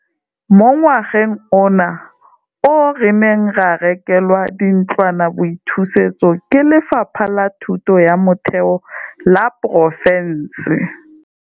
Mo ngwageng ona oo re ne ra rekelwa dintlwanaboithusetso ke Lefapha la Thuto ya Motheo la porofense.